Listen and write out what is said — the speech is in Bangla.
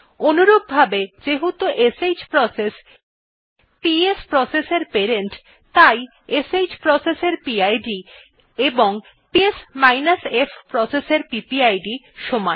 অনুরূপভাবে যেহেতু শ্ প্রসেস পিএস প্রসেস এর প্যারেন্ট তাই শ্ প্রসেস এর পিড ও পিএস f প্রসেস এর পিপিআইডি সমান